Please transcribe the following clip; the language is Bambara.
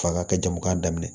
Fa ka kɛ jamukan daminɛ